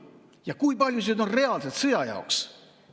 Ja kui palju sellest on reaalselt sõja jaoks?